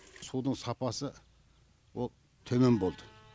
судың сапасы ол төмен болды